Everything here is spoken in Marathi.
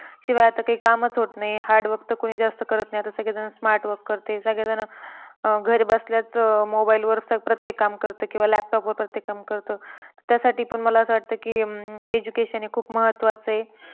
शिवाय आता काही कामच होत नाही hard work तर कोणी जास्त करत नाही. आता सगळे जण smart work करते. सगळे जण अं घरी बसल्याच mobile वर प्रत्येक काम करतं किंवा laptop प्रत्येक काम करतं. त्यासाठी पण मला असं वाटतं की अं education हे खूप महत्वाचं आहे.